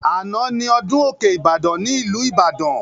Àná ni ọdún òkè Ibadan ní ìlú Ìbàdàn